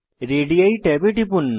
ready ট্যাবে টিপুন